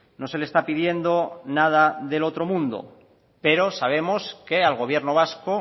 no se le está pidiendo nada del otro mundo pero sabemos que al gobierno vasco